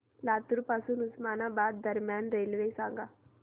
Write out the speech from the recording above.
लातूर पासून उस्मानाबाद दरम्यान रेल्वे सांगा